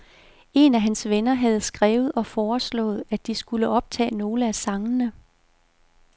Én af hans venner havde skrevet og foreslået, at de skulle optage nogle af sangene.